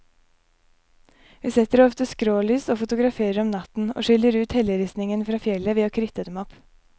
Vi setter ofte skrålys og fotograferer om natten, og skiller ut helleristningen fra fjellet ved å kritte dem opp.